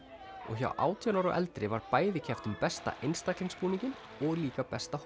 og hjá átján ára og eldri var bæði keppt um besta einstaka búninginn og líka besta